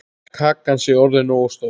Kakan sé orðin nógu stór.